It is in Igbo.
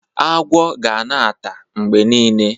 Agwo ga na-ata mgbe nile.